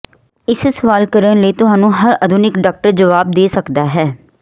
ਇਸ ਸਵਾਲ ਕਰਨ ਲਈ ਤੁਹਾਨੂੰ ਹਰ ਆਧੁਨਿਕ ਡਾਕਟਰ ਜਵਾਬ ਦੇ ਸਕਦਾ ਹੈ